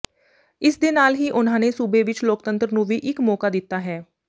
ਇਸ ਦੇ ਨਾਲ ਹੀ ਉਨ੍ਹਾਂ ਨੇ ਸੂਬੇ ਵਿੱਚ ਲੋਕਤੰਤਰ ਨੂੰ ਵੀ ਇੱਕ ਮੌਕਾ ਦਿੱਤਾ ਹੈ